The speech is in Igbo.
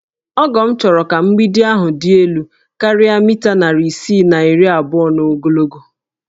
Ọgọ m chọrọ ka mgbidi ahụ dị elu karịa mita narị isii na iri abụọ n'ogologo